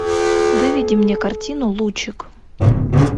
выведи мне картину лучик